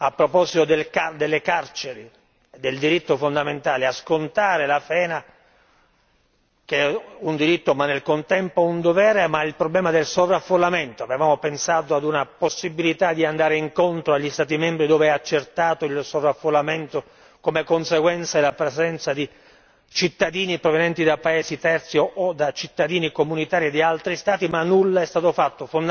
Per quanto riguarda le carceri e il diritto fondamentale a scontare la pena che è un diritto, ma nel contempo un dovere che si scontra con il problema del sovraffollamento, avevamo pensato a una possibilità di andare incontro agli Stati membri dove è accertato il sovraffollamento come conseguenza della presenza di cittadini provenienti da paesi terzi o da cittadini comunitari di altri Stati, ma nulla è stato fatto.